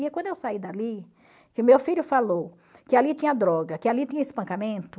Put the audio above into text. E quando eu saí dali, que o meu filho falou que ali tinha droga, que ali tinha espancamento,